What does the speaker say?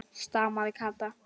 stamaði Kata.